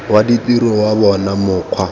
wa ditiro wa bona mokgwa